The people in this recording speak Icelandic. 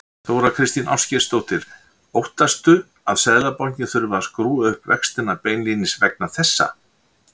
Þóra Kristín Ásgeirsdóttir: Óttastu að Seðlabankinn þurfi að skrúfa upp vextina beinlínis vegna þessa?